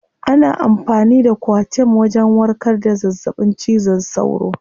Ana amfani da coartem wajen warkar da zazzaɓin cizon sauro.